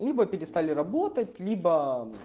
либо перестали работать либо